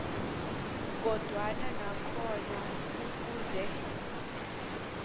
kodwana nakhona kufuze